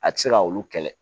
A ti se ka olu kɛlɛ